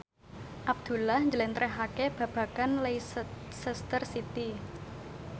Abdullah njlentrehake babagan Leicester City